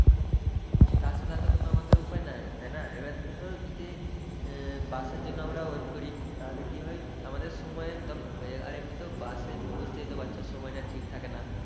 তাছাড়া তো কোন আমাদের উপায় নাই তাই না। এবার ধরো যদি বাসের জন্য আমরা wait করি তাহলে কি হয় আমাদের সময়ের তখন হয়ে যায় আর এমনিতেও বাসের বুঝতেই তো পারছো সময়টা ঠিক থাকে না।